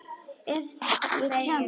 Ef ég kemst.